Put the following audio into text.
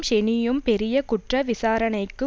ஷெனியும் பெரிய குற்ற விசாரணைக்கு